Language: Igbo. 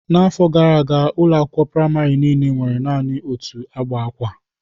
N'afọ gara aga, ụlọ akwụkwọ praịmarị niile nwere naanị otu agba akwa.